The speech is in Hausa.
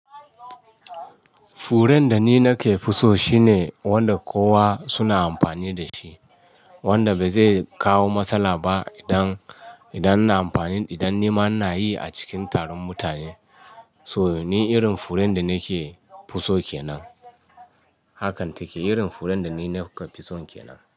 Furen da ni nake fi so shine wanda kowa suna amfani da shi, wanda bai zai kawo matsala ba idan, idan ina amfani, idan nima ina yi a cikin taron mutane. So ni irin furen da nakefi so kenan. Hakan take irin furen da ni nake fi so kenan.